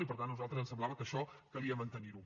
i per tant a nosaltres ens semblava que això calia mantenir ho